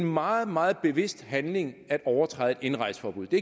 meget meget bevidst handling at overtræde et indrejseforbud det